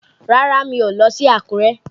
Rárá, mi ò lọ sí Àkúrẹ́.